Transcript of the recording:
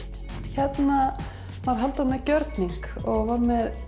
já hérna var Halldór með gjörning hann var með